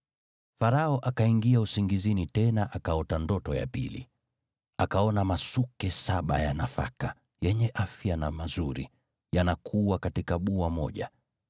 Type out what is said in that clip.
Farao akaingia usingizini tena akaota ndoto ya pili: Akaona masuke saba ya nafaka, yenye afya na mazuri, yanakua katika bua moja.